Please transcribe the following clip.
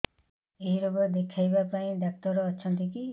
ଏଇ ରୋଗ ଦେଖିବା ପାଇଁ ଡ଼ାକ୍ତର ଅଛନ୍ତି କି